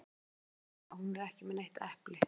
Við hin sjáum að hún er ekki með neitt epli.